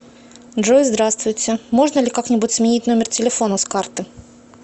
джой здравствуйте можно ли как нибудь сменить номер телефона с карты